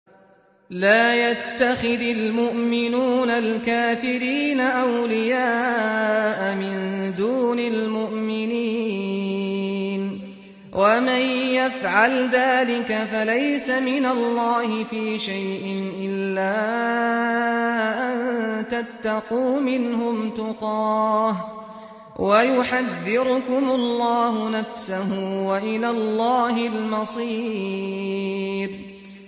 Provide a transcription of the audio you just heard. لَّا يَتَّخِذِ الْمُؤْمِنُونَ الْكَافِرِينَ أَوْلِيَاءَ مِن دُونِ الْمُؤْمِنِينَ ۖ وَمَن يَفْعَلْ ذَٰلِكَ فَلَيْسَ مِنَ اللَّهِ فِي شَيْءٍ إِلَّا أَن تَتَّقُوا مِنْهُمْ تُقَاةً ۗ وَيُحَذِّرُكُمُ اللَّهُ نَفْسَهُ ۗ وَإِلَى اللَّهِ الْمَصِيرُ